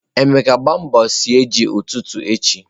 Emeka, gbaa mbọ sie ji ututu echi.